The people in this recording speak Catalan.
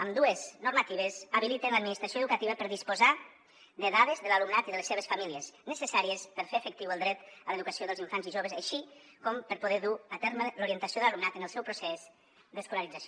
ambdues normatives habiliten l’administració educativa per a disposar de dades de l’alumnat i de les seves famílies necessàries per fer efectiu el dret a l’educació dels infants i joves així com per poder dur a terme l’orientació de l’alumnat en el seu procés d’escolarització